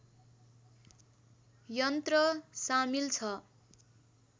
यन्त्र सामिल छ